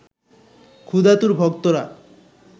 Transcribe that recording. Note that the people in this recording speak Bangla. ক্ষুধাতুর ভক্তরা